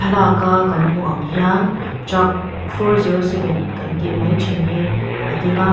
laka kan hmuh ang hian truck four zero seven kan tih mai ṭhin hi a ding a.